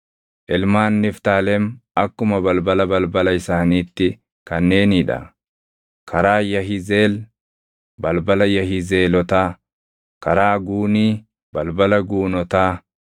Ilmaan Niftaalem akkuma balbala balbala isaaniitti kanneenii dha: karaa Yahizeel, balbala Yahizeelotaa, karaa Guunii, balbala Guunotaa;